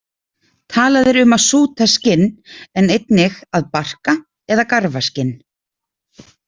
Talað er um að súta skinn, en einnig að „barka“ eða „garfa skinn“.